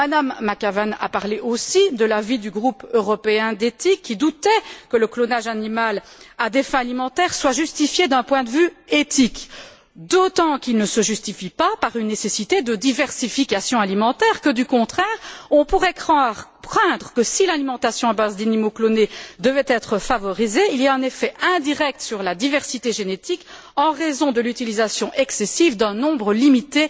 Mme McAvan a parlé aussi de l'avis du groupe européen d'éthique, qui doutait que le clonage animal à des fins alimentaires soit justifié d'un point de vue éthique, d'autant qu'il ne se justifie pas par une nécessité de diversification alimentaire. Bien au contraire on pourrait craindre que la promotion d'une alimentation à base d'animaux clonés ait un effet indirect sur la diversité génétique en raison de l'utilisation excessive d'un nombre limité